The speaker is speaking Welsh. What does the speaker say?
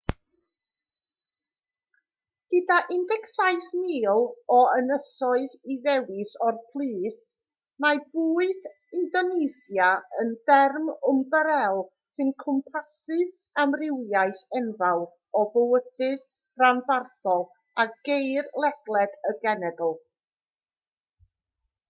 gyda 17,000 o ynysoedd i ddewis o'u plith mae bwyd indonesia yn derm ymbarél sy'n cwmpasu amrywiaeth enfawr o fwydydd rhanbarthol a geir ledled y genedl